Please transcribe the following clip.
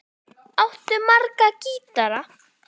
Áttu marga gítara?